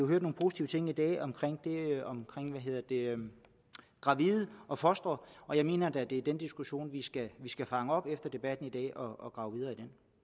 hørt nogle positive ting omkring omkring gravide og fostre og jeg mener det er den diskussion vi skal skal fange op og grave videre